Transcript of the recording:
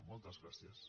moltes gràcies